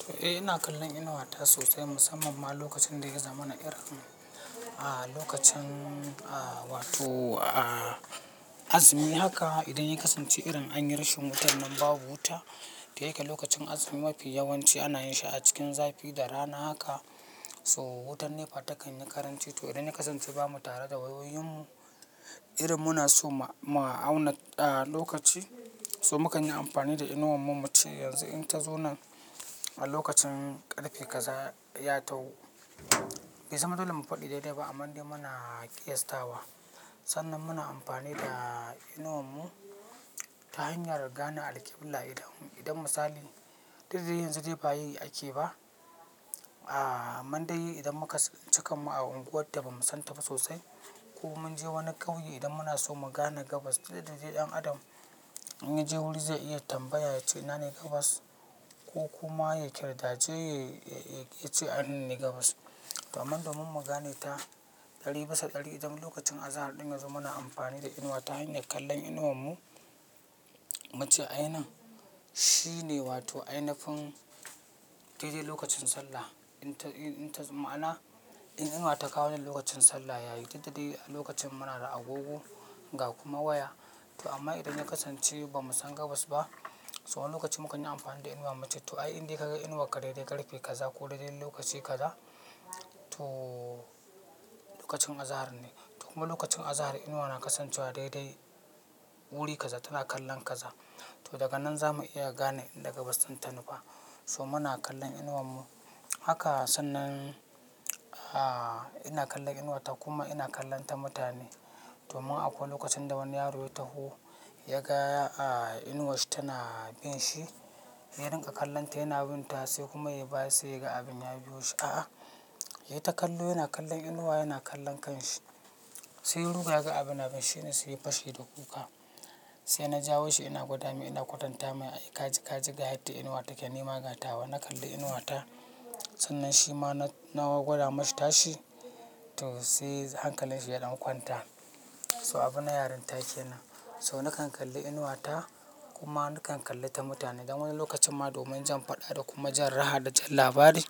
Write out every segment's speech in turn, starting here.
To, eh ina kallon inuwata sosai musamman ma lokacin da ya zamma mana irin, ah lokacin ah wato ah azumi haka idan ya kasance irin anyi rashin wutan nan babu wuta, da yake lokacin azumi mafi yawanci ana yin shi a cikin zafi da rana haka, so wutar NEPA takan yi karanci to idan ya kasance bamu tare da wayoyinmu irin muna so mu auna a lokaci so mukan yi amfani da inuwan mu muce yanzu in ta zo nan a lokacin ƙarfe kaza ya taho. Baizama dole mu faɗi daidai ba amma dai muna ƙiyastawa. Sannan muna amfani da inuwan mu ta hanyar gane alkibla idan, idan misali dikda dai yanzu dai bayi ake ba, ah amman dai idan muka suncikan mu a unguwar da ba mu san ta ba sosai ko mun je wani ƙauye idan muna so mu gane gabas dikda dai ɗan adam inya je wuri zai iya tambaya ya ce "ina ne gabas?" Ko kuma ya ƙirtace ya ce "Eh nan ne gabas." to amma domin mu gane ta ɗari bisa ɗari idan lokacin azahar ɗin yazo muna amfani da inuwa ta hanyar kallon inuwan mu. Muce ayi inan. Shine wato ainafin daidai lokacin sallah. Inta, inta ma'ana in inuwa ta kawo ni lokacin sallah yayi dikda dai a lokacin muna da agogo ga kuma waya. To amma idan ya kasance ba mu san gabas ba, so wani lokaci mukan yi amfani da inuwan mu muce to ai indai ka ga inuwakka daidai ƙarfe kaza ko daidai lokaci kaza to lokacin azahar ne. Kuma lokacin azahar inuwa na kasancewa daidai wuri kaza tana kallon kaza. To daga nan za mu iya gane inda gabas din tanufa. So muna kallon inuwan mu. Haka sannan ah ina kallon inuwata kuma ina kallonta mutane. Domin akwai wani lokacin da wani yaro ya taho ya ga ah inuwarshi tana bin shi. Yadinga kallanta yana bin ta sai kuma yayi baya sai kuma yaga abin ya biyo shi. A'a, ya yi ta kallo yana kallon inuwa yana kallon kanshi. Sai ruga ga abin na binshi shine saiya fashe da kuka. Sai na jawo shi ina gwada mai ina kwatanta mai ka ji, ka ji ga yadda inuwa take ni magatawa. Na kalli inuwata. Sannan shi ma na gwada mashi tashi to sai han kallin shi ya dankwanta. So abin na yaranta kenan. So nakan kalli inuwata kuma nakan kallita mutane don wani lokacin ma domin jan faɗa da kuma jan raha da jan labari.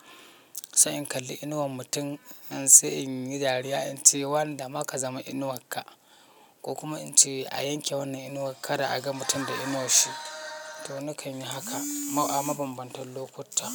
Sai in kalli inuwan mutum in sai in yi dariya in ce wanda maka zama inuwarka. Ko kuma in ce a yanke wannan inuwa kada a ga mutum da inuwash shi. To nakan yi haka a mabambantan lokuta.